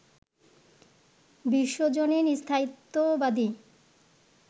বিশ্বজনীন স্থায়িত্ববাদী